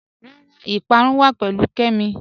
Rárá, ìpárún wà pẹ̀lú Kẹ́mí